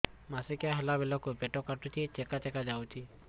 ମାସିକିଆ ହେଲା ବେଳକୁ ପେଟ କାଟୁଚି ଚେକା ଚେକା ଯାଉଚି